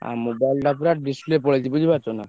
ଆଉ mobile ଟା ପୁରା display ପଲେଇଛି ବୁଝି ପରୁଛ ନା।